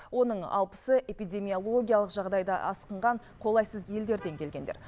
оның алпысы эпидемиологиялық жағдайда асқынған қолайсыз елдерден келгендер